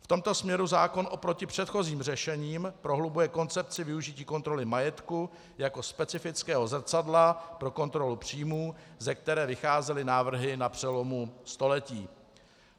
V tomto směru zákon oproti předchozím řešením prohlubuje koncepci využití kontroly majetku jako specifického zrcadla pro kontrolu příjmů, ze které vycházely návrhy na přelomu století.